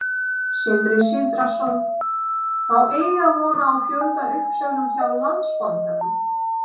Sindri Sindrason: Má eiga von á fjöldauppsögnum hjá Landsbankanum?